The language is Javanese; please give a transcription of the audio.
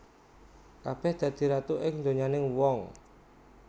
Kabèh dadi ratu ing donyaning wong